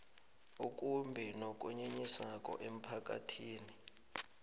okumbi nokunyenyisako emphakathini